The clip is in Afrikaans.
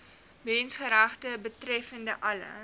menseregte betreffende alle